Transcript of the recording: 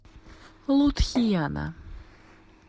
лудхияна